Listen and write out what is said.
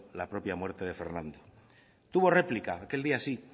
la propia muerte de fernando tuvo réplica aquel día sí